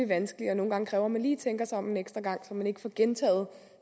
vanskelig og nogle gange kræver at man lige tænker sig om en ekstra gang så man ikke får gentaget